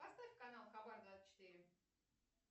поставь канал хабар двадцать четыре